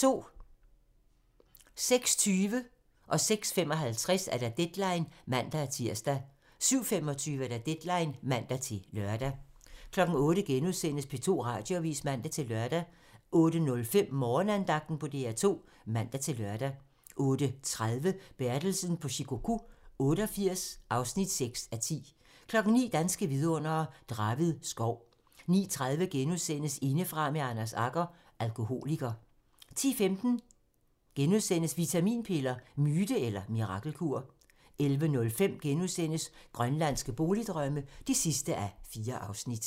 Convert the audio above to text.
06:20: Deadline (man-tir) 06:55: Deadline (man-tir) 07:25: Deadline (man-lør) 08:00: P2 Radioavis *(man-lør) 08:05: Morgenandagten på DR2 (man-lør) 08:30: Bertelsen på Shikoku 88 (6:10) 09:00: Danske vidundere: Draved Skov 09:30: Indefra med Anders Agger - Alkoholiker * 10:15: Vitaminpiller - myte eller mirakelkur? * 11:05: Grønlandske boligdrømme (4:4)*